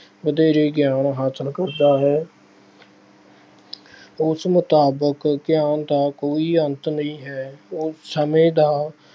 ਵਧੇਰੇ ਗਿਆਨ ਹਾਸਿਲ ਕਰਦਾ ਹੈ। ਉਸ ਮੁਤਾਬਿਕ ਗਿਆਨ ਦਾ ਕੋਈ ਅੰਤ ਨਹੀਂਂ ਹੈ। ਉਸ ਸਮੇਂ ਦਾ